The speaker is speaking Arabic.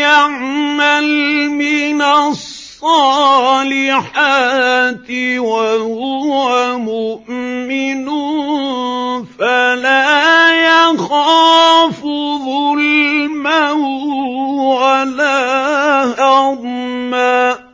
يَعْمَلْ مِنَ الصَّالِحَاتِ وَهُوَ مُؤْمِنٌ فَلَا يَخَافُ ظُلْمًا وَلَا هَضْمًا